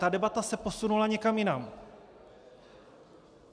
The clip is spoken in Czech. Ta debata se posunula někam jinam.